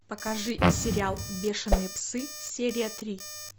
покажи сериал бешеные псы серия три